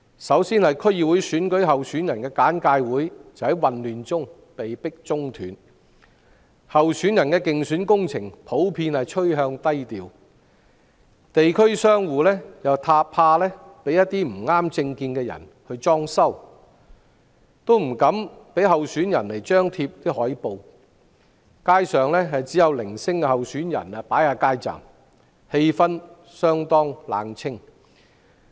首先，區議會選舉候選人的簡介會在混亂中被迫中斷；候選人的競選工程普遍趨向低調，地區商戶怕被不合政見的人"裝修"，於是不敢讓候選人張貼海報；街上只有零星候選人擺設街站，氣氛相當冷清。